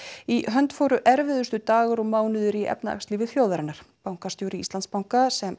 í hönd fóru erfiðustu dagar og mánuðir í efnahagslífi þjóðarinnar bankastjóri Íslandsbanka sem